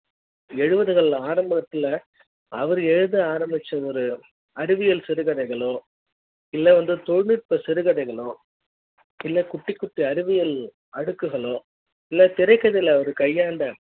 எழுபதுகள்ல ஆரம்பத்துல அவரு எழுத ஆரம்பிச்ச ஒரு அறிவியல் சிறுகதைகள்களோ இல்ல வந்து தொழில் நுட்ப சிறுகதைகள்களோ இல்ல குட்டி குட்டி அறிவியல் அடுக்குகளோ இல்ல திரைக்கதையில் அவர் கையாண்ட